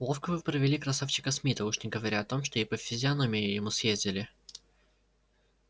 ловко вы провели красавчика смита уж не говоря о том что и по физиономии ему съездили